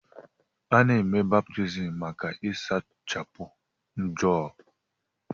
Ana-eme baptiizim maka ịsachapụ njọ.